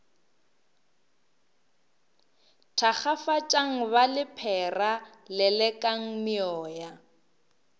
thakgafatšang ba lephera lelekang meoya